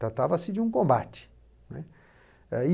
Tratava-se de um combate, né. E